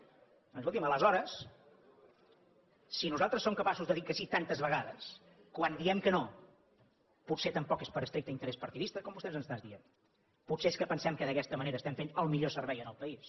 doncs escolti’m aleshores si nosaltres som capaços de dir que sí tantes vegades quan diem que no potser tampoc és per estricte interès partidista com vostè ens està dient potser és que pensem que d’aquesta manera estem fent el millor servei al país